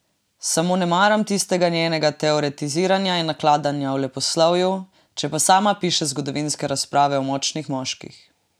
Samo ne maram tistega njenega teoretiziranja in nakladanja o leposlovju, če pa sama piše zgodovinske razprave o močnih moških.